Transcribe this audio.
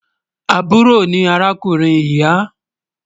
Àbúrò ni arákùnrin ìyà